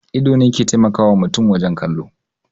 Ido ne ke taimakawa mutum wajen kallo